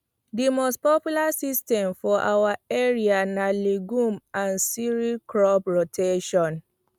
the most popular system for our area na legumes and cereals crop rotation